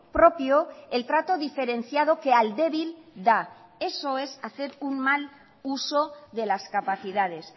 propio el trato diferenciado que al débil da eso es hacer un mal uso de las capacidades